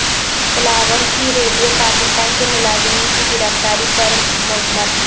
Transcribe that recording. بلاول کی ریڈیو پاکستان کے ملازمین کی گرفتاری پر مذمت